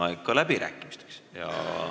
Meil on aeg läbirääkimisteks.